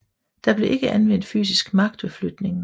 Der blev ikke anvendt fysisk magt ved flytningen